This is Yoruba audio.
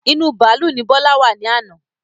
Inú bàálú ni Bọlá wá ní àná.